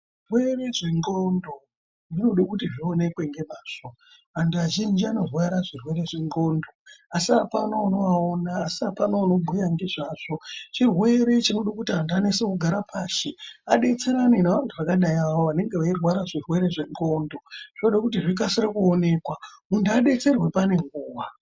Zvirwere zvendxondo zvinode kuti zvionekwe ngemazvo. Anhu azhinji anorwara zvirwere zvendxondo asi apana unovaona, asi apana unobhuya ngezvazvo. Chirwere chinoda kuti antu anase kugara pashi, adetserane neantu akadai awawo anenge eirwara zvirwere zvendxondo. Zvinode kuti zvikasire kuonekwa, muntu edetserwe pane nguwa.